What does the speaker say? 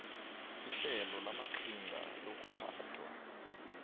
ihlelo lamaqhinga lokuphathwa